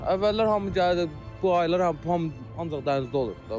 Əvvəllər hamı gəlirdi, bu aylar hamı ancaq dənizdə olurdu.